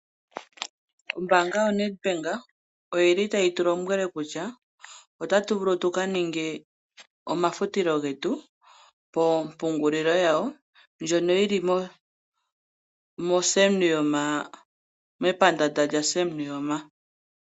Ombaanga yoNEDBANK oyi li tayi tu lombwele kutya otatu vulu tuka ninge omafutilo getu mompungulilo yawo ndjono yi li moSam Nuuyoma mepandaanda lyaSam Nuuyoma.